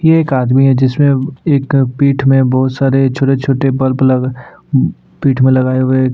ये एक आदमी है जिसमें एक पीठ में बहुत सारे छोटे-छोटे बल्ब लग पीठ में लगाए हुए हैं।